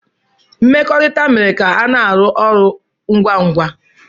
Mmekọrịta mere ka ana arụ ọrụ ngwa ngwa.